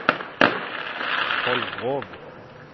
Kolgrov